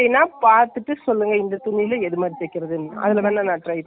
முட்டி வரிக்கும் தைச்ச அதுக்கு கிழ, அதுலயே pant மாதிரி தைக்கலாம் அது மாதிரி எல்லாம் .